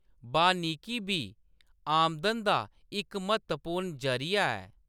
वानिकी बी आमदन दा इक म्हत्तवपूर्ण जरीया ऐ।